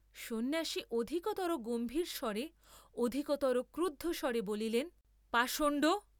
সন্ন্যাসী অধিকতর গম্ভীর স্বরে অধিকতর ক্রুদ্ধস্বরে বলিলেন, পাষণ্ড!